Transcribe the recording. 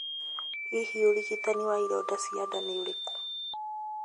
Hihi ũrigitani wa ironda cia nda ni ũriku?